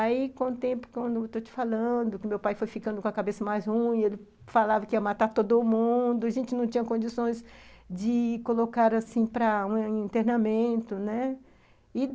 Aí, com o tempo que eu estou te falando, que meu pai foi ficando com a cabeça mais ruim, ele falava que ia matar todo mundo, a gente não tinha condições de colocar, assim, para um internamento, né?